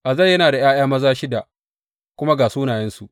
Azel yana da ’ya’ya maza shida, kuma ga sunayensu.